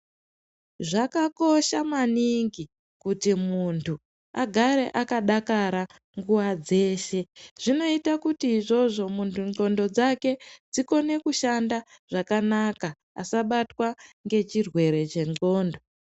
Zvakakosha maningi kuti muntu agare akadakara nguva dzeshe zvinoita kuti izvozvo muntu ndxondo dzake dzikone kushhanda zvakanaka asabatwa nechirwere chendxondo.